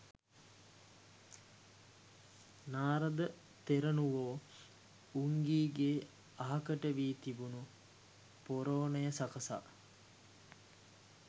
නාරද තෙරණුවෝ උංගීගේ අහකට වී තිබුණු පොරෝනය සකසා